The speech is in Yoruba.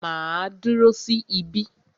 Màá dúró sí ibí.